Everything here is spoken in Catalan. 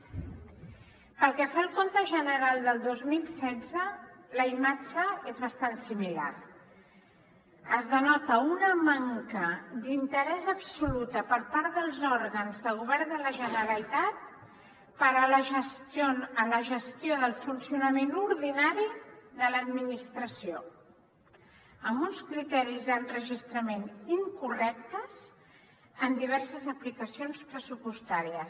pel que fa al compte general del dos mil setze la imatge és bastant similar es denota una manca d’interès absoluta per part dels òrgans de govern de la generalitat per a la gestió del funcionament ordinari de l’administració amb uns criteris d’enregistrament incorrectes en diverses aplicacions pressupostàries